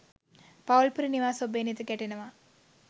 පවුල් පිරි නිවාස ඔබේ නෙත ගැටෙනවා.